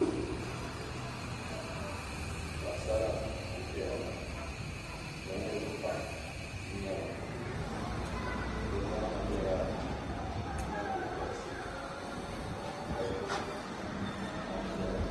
Paɣasara n-ʒeya ŋɔ be niriba pam n-nyɛba be zaa ha yela nyingo kɔliti ka shɛba gbubi tan'piɛla.